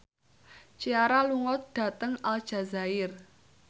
Ciara lunga dhateng Aljazair